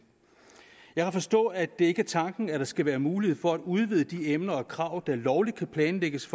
jeg har forstået at det ikke er tanken at der skal være mulighed for at udvide de emner og krav der lovligt kan planlægges